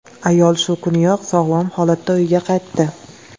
Ayol shu kuniyoq sog‘lom holatda uyiga qaytdi.